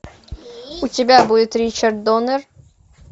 у тебя будет ричард доннер